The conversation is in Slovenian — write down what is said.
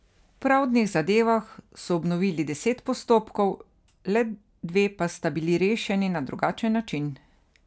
V pravdnih zadevah so obnovili deset postopkov, le dve pa sta bili rešeni na drugačen način.